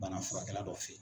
bana furakɛla dɔ fɛ yen